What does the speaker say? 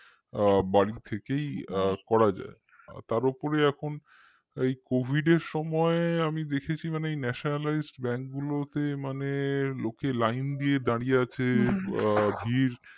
আ বাড়ি থেকেই আ করা যায় তার উপরে এখন এই covid এর সময় আমি দেখেছি মানে এই nationalized bank গুলোতে মানে লোককে line দিয়ে দাঁড়িয়ে আছে আ ভিড়